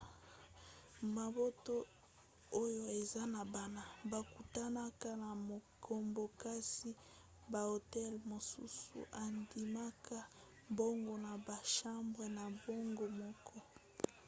mabota oyo eza na bana bakutanaka na makambo kasi bahotel mosusu endimaka bango na bachambre na bango moko